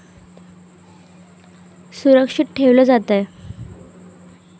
असुरक्षित ठेवलं जातंय.